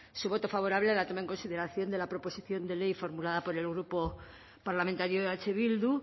su voto favorable a la toma en consideración de la proposición de ley formulada por el grupo parlamentario eh bildu